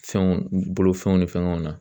Fɛnw bolofɛnw ni fɛngɛw na.